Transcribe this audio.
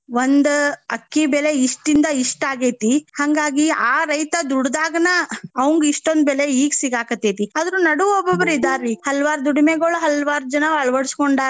ಒಂದ್ ಅಕ್ಕಿ ಬೆಲೆ ಇಷ್ಟಿಂದ ಇಷ್ಟ್ ಆಗೇತಿ. ಹಂಗಾಗಿ ಆ ರೈತ ದುಡದಾಗನ ಅವಂಗ್ ಇಷ್ಟೊಂದು ಬೆಲೆ ಈಗ ಸಿಗಾಕತ್ತೆತಿ. ಆದ್ರು ನಡು ಒಬ್ಬೊಬ್ರ ಇದಾರಿ ಹಲವಾರ್ ದುಡಿಮೆಗೊಳ್ ಹಲವಾರ್ ಜನ ಅಳ್ವಡಸ್ಕೊಂಡಾರ.